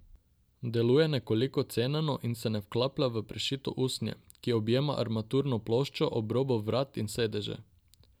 Deluje nekoliko ceneno in se ne vklaplja v prešito usnje, ki objema armaturno ploščo, obrobo vrat in sedeže.